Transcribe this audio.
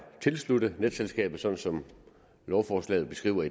tilsluttet netselskabet sådan som lovforslaget beskriver